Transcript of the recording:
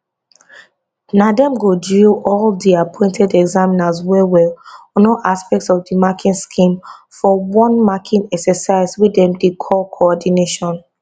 na dem go drill all di appointed examiners wellwell on all aspects of di marking scheme for one marking exercise wey dem dey call coordination